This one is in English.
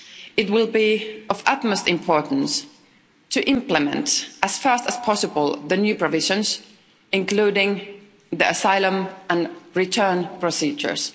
It will be of utmost importance to implement, as fast as possible, the new provisions, including the asylum and return procedures.